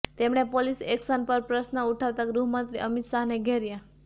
તેમણે police action પર પ્રશ્ન ઉઠાવતા ગૃહમંત્રી અમિત શાહને ઘેર્યા